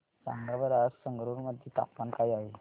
सांगा बरं आज संगरुर मध्ये तापमान काय आहे